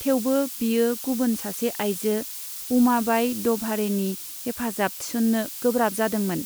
थेवबो, बियो गुबुन सासे आइजो, उमाबाइ द'भाड़ेनि हेफाजाब थिसन्नो गोब्राब जादोंमोन।